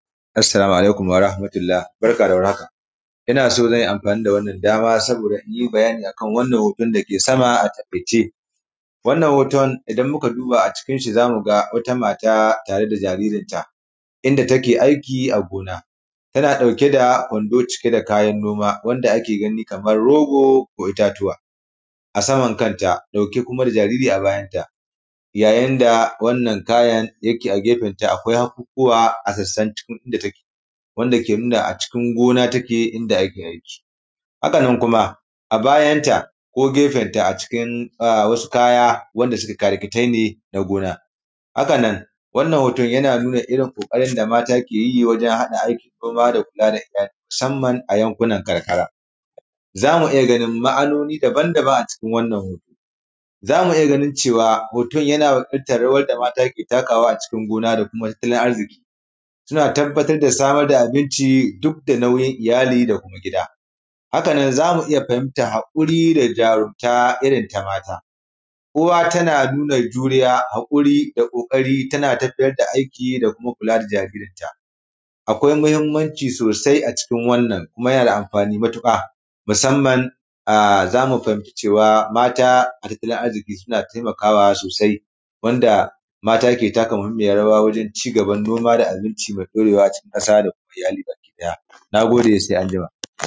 Assalaamu alaikum warah matullah, barka da warhaka ina so zan yi amfani da wannan dama saboda in bayani akan wannan hoton dake sama a taƙaice, wannan hoton idan muka duba acincin shi za mu ga wata mata tare da jaririnta, inda take aiki a gona tana ɗauke da kwando cike da kayan noma wanda ake gani kamar rogo ko itatuwa a saman kanta ɗauke kuma da jariri a bayanta yayin da wannan kayan yake a gefen ta akwai hakukuwa a sassan cikin inda take, wanda ke nuna acikin gona take inda ake aiki. hakannan wannan hoton yana nuna ƙoƙarin da mata ke yi wajen haɗa aikin gona da aikin iyali musamman a yankunan karkara. za mu iya ganin ma’anoni daban daban acikin wannan hoton, za mu iya ganin cewa hoton yana fidda rawar da maata suke takawa acikin gona da kuma tattalin arziƙi suna tabbatar da samar da abinci duk da nauyin iyali da kuma gida. hakannan za mu iya fahimta haƙuri da jarumta irin ta mata, uwa tana nuna juriya, haƙuri da ƙoƙari tana tafiyar da aiki da kuma kula da jaririnta, akwai muhimmanci sosai acikin wannan kuma yana da amfani matuƙa, musamman za mu fahimci cewa mata a tattalin arziƙi suna taimakaawa sosai wanda mata ke taka muhimiyar rawa wajen cigaban noma da abinci mai ɗorewa cikin ƙasa da kuma iyali baki ɗaya naagode sai anjima.